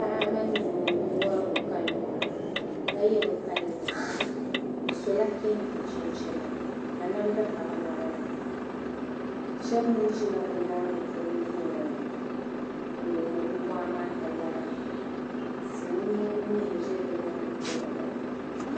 Paɣi mini dɔɔ n wari bi kali waa, kaye bi kali ne ma. bisola kentɛ. chinchina. ka namda ka bi naba ni, shab mi zi la bi nyaaŋa polɔ duuŋɔnin lihiri ba waa maa ka lara silimiingi mi gba n zi bi nyaa ŋa hala,